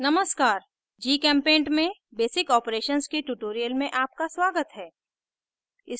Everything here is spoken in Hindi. नमस्कार gchempaint में basic operations के tutorial में आपका स्वागत है